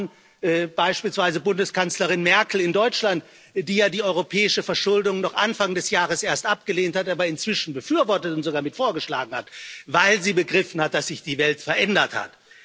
Allen voran beispielsweise Bundeskanzlerin Merkel in Deutschland, die ja die europäische Verschuldung noch Anfang des Jahres erst abgelehnt hat, aber inzwischen befürwortet und sogar mit vorgeschlagen hat, weil sie begriffen hat, dass sich die Welt verändert hat.